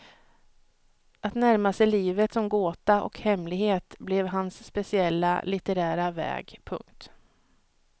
Att närma sig livet som gåta och hemlighet blev hans speciella litterära väg. punkt